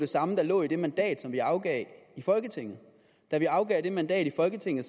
samme der lå i det mandat som vi afgav i folketinget da vi afgav det mandat i folketinget